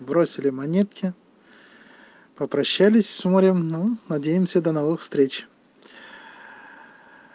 бросили монетки попрощались с морем но надеемся до новых встреч